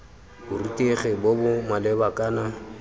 borutegi bo bo maleba kana